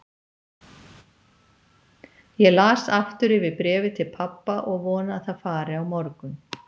Ég las aftur yfir bréfið til pabba og vona að það fari á morgun.